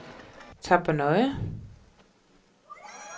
Tappernøje